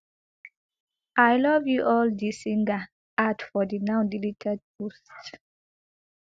i love you all di singer add for di now deleted post